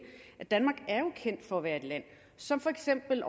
at kendt for at være et land som for eksempel